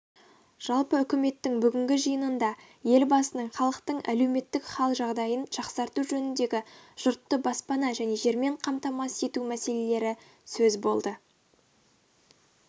жалпы үкіметтің бүгінгі жиынында елбасының халықтың әлеуметтік хал-жағдайын жақсарту жөніндегі жұртты баспана және жермен қамтамасыз ету мәселелері сөз болды